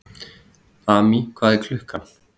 Amý, hvað er klukkan?